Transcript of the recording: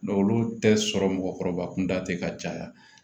olu tɛ sɔrɔ mɔgɔkɔrɔba kunda tɛ ka caya